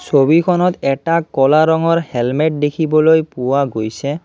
ছবিখনত এটা ক'লা ৰঙৰ হেলমেত দেখিবলৈ পোৱা গৈছে।